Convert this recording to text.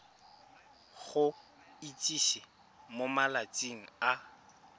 go itsise mo malatsing a